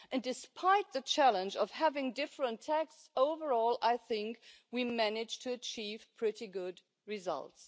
Despite the challenge of having different texts, overall, I think we managed to achieve pretty good results.